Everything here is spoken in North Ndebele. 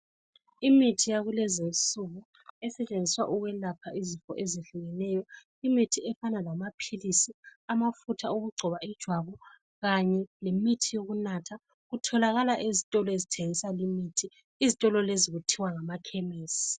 Imithi yakulezi insuku esetshenziswa ukwelapha izifo ezehlukeneyo imithi efana lamaphilisi, amafutha okugcoba ijwabu kanye lemithi yokunatha. Kutholakala ezitolo ezithengisa limithi izitolo lezi kuthiwa ngamakhemisi.